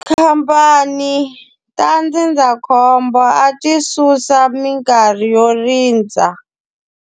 Tikhamphani ta ndzindzakhombo a ti susa minkarhi yo rindza.